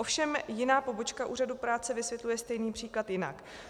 Ovšem jiná pobočka úřadu práce vysvětluje stejný příklad jinak.